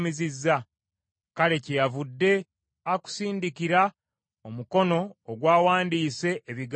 Kale kyeyavudde akusindikira omukono ogwawandiise ebigambo ebyo.